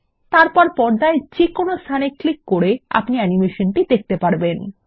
তারপর পর্দায় যেকোনো স্থানে ক্লিক করে আপনি অ্যানিমেশনটি দেখতে পারবেন